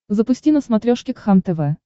запусти на смотрешке кхлм тв